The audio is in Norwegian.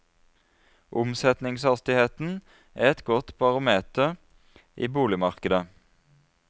Omsetningshastigheten er et godt barometer i boligmarkedet.